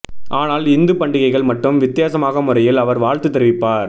ஆனால் இந்து பண்டிகைகள் மட்டும் வித்தியாசமான முறையில் அவர் வாழ்த்து தெரிவிப்பார்